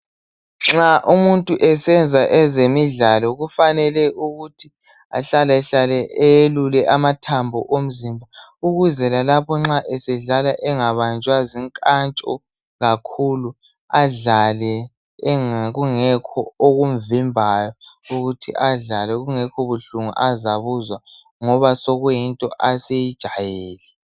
Nxa umuntu esenza ezemidlalo kufanele ukuthi ahlalahlale eyelule amathambo omzimba. Ukuze lalapho nxa esedlala angabanjwa zinkantsho kakhulu. Adlale kungekho okumvimbayo, ukuthi adlale kungekho buhlungu azabuzwa ngoba sokuyinto aseyijayele.